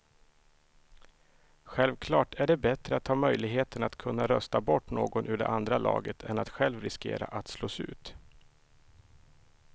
Självklart är det bättre att ha möjligheten att kunna rösta bort någon ur det andra laget än att själv riskera att slås ut.